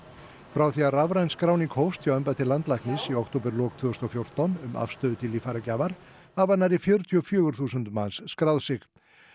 frá því að rafræn skráning hófst hjá embætti landlæknis í októberlok tvö þúsund og fjórtán um afstöðu til líffæragjafar hafa nærri fjörutíu og fjögur þúsund manns skráð sig